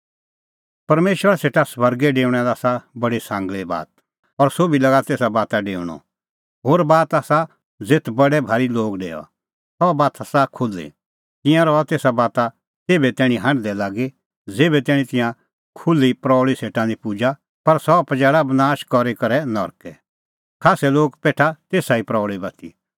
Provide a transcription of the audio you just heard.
परमेशरा सेटा स्वर्गै डेऊणा लै आसा बडी सांगल़ी बात और सोभी लागा तेसा बाता डेऊणअ होर बात बी आसा ज़ेथ बडै भारी लोग डेओआ सह बात आसा खुल्ही तिंयां रहा तेसा बाता तेभै तैणीं हांढदै लागी ज़ेभै तैणीं तिंयां खुल्ही प्रऊल़ी सेटा निं पुजा पर सह पजैल़ा बनाश करी करै नरकै खास्सै लोग पेठा तेसा ई प्रऊल़ी बाती